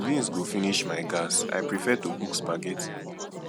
beans go finish my gas i prefer to cook spaghetti